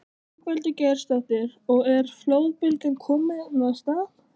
Ingveldur Geirsdóttir: Og er flóðbylgjan komin af stað?